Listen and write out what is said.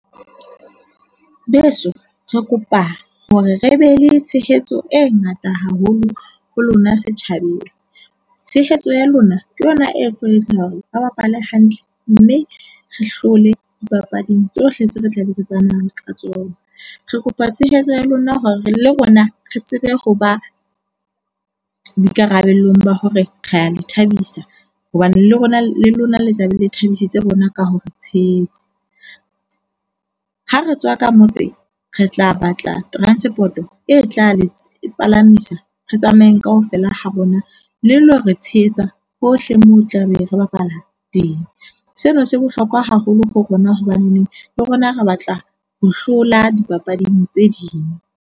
Beso, re kopa hore re be le tshehetso e ngata haholo ho lona setjhabeng. Tshehetso ya lona ke yona e tlo etsa hore re bapale hantle mme re hlole dipapading tsohle tseo re tlabe re tsamayang ka tsona. Re kopa tshehetso ya lona hore le rona re tsebe ho ba boikarabelong ba hore re a le thabisa hobane le rona le lona le tla be le thabisitse rona ka ho re tshehetsa. Ha re tswa ka motse re tla batla transport-o e tla le palamisa. Re tsamayeng kaofela ha rona. Le lo re tshehetsa hohle moo o tla be re bapala teng. Sena se bohlokwa haholo ho rona hobaneneng le rona re batla ho hlola dipapading tse ding.